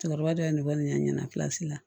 Cɛkɔrɔba dɔ ye ne wele n ɲɛna la